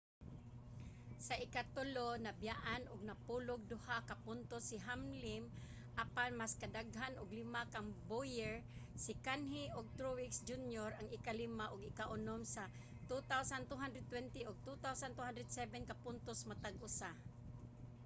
sa ikatulo nabiyaan og napulo'g duha ka puntos si hamlim apan mas daghan og lima kang bowyer. si kahne ug truex jr. ang ikalima ug ikaunom sa 2,220 ug 2,207 ka puntos matag usa